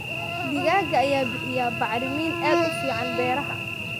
Digaagga ayaa bixiya bacrimin aad u fiican beeraha.